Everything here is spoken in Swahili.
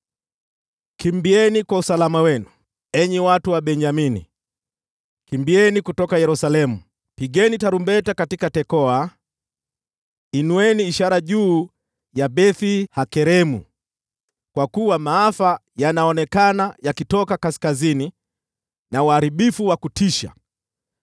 “Kimbieni kwa usalama wenu, enyi watu wa Benyamini! Kimbieni kutoka Yerusalemu! Pigeni tarumbeta katika Tekoa! Inueni ishara juu ya Beth-Hakeremu! Kwa kuwa maafa yanaonekana yakitoka kaskazini, na uharibifu wa kutisha.